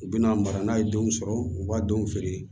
U bɛna mara n'a ye denw sɔrɔ u b'a denw feere